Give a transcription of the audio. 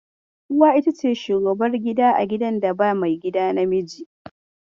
Uwa ita ce shugabar gida a gidan da ba maigida namiji.